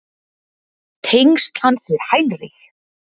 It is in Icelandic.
Tengsl hans við Heinrich